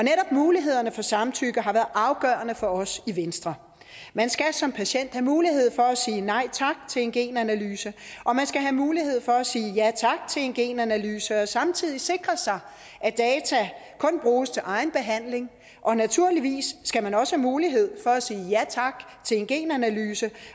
mulighederne for samtykke har været afgørende for os i venstre man skal som patient have mulighed for at sige nej tak til en genanalyse og man skal have mulighed for at sige ja tak til en genanalyse og samtidig sikre sig at data kun bruges til egen behandling og naturligvis skal man også mulighed for at sige ja tak til en genanalyse